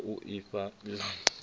ya u ifha ela dzinnḓu